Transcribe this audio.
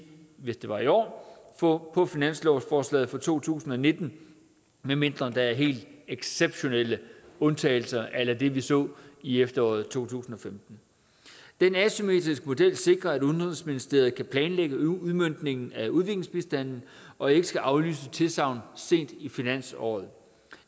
hvis det var i år år på finanslovsforslaget for to tusind og nitten medmindre der er helt exceptionelle undtagelser a la det vi så i efteråret to tusind og femten den asymmetriske model sikrer at udenrigsministeriet kan planlægge udmøntningen af udviklingsbistanden og ikke skal aflyse tilsagn sent i finansåret